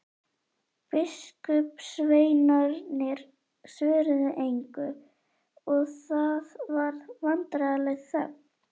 Biskupssveinarnir svöruðu engu og það varð vandræðaleg þögn.